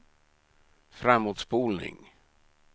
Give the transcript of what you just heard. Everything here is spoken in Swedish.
framåtspolning